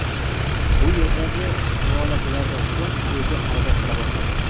Bu yerdagi muolajalardan so‘ng o‘zi harakat qila boshladi.